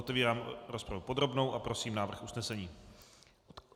Otevírám rozpravu podrobnou a prosím návrh usnesení.